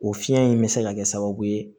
O fiyɛn in bɛ se ka kɛ sababu ye